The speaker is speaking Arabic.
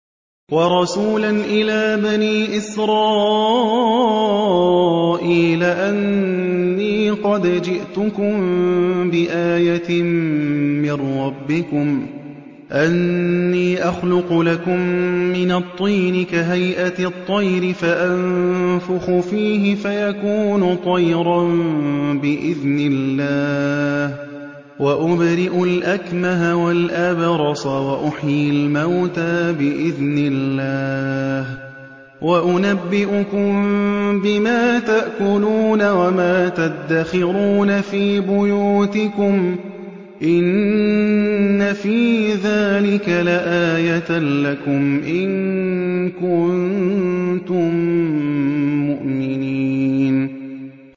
وَرَسُولًا إِلَىٰ بَنِي إِسْرَائِيلَ أَنِّي قَدْ جِئْتُكُم بِآيَةٍ مِّن رَّبِّكُمْ ۖ أَنِّي أَخْلُقُ لَكُم مِّنَ الطِّينِ كَهَيْئَةِ الطَّيْرِ فَأَنفُخُ فِيهِ فَيَكُونُ طَيْرًا بِإِذْنِ اللَّهِ ۖ وَأُبْرِئُ الْأَكْمَهَ وَالْأَبْرَصَ وَأُحْيِي الْمَوْتَىٰ بِإِذْنِ اللَّهِ ۖ وَأُنَبِّئُكُم بِمَا تَأْكُلُونَ وَمَا تَدَّخِرُونَ فِي بُيُوتِكُمْ ۚ إِنَّ فِي ذَٰلِكَ لَآيَةً لَّكُمْ إِن كُنتُم مُّؤْمِنِينَ